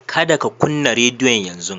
Kada ka kunna radiyon yanzu.